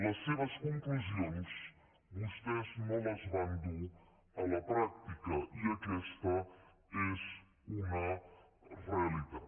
les seves conclusions vostès no les van dur a la pràctica i aquesta és una realitat